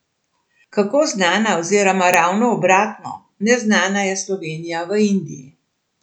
Kako znana oziroma ravno obratno, neznana, je Slovenija v Indiji?